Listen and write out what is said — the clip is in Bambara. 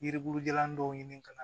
Yiribulu jalan dɔw ɲini ka na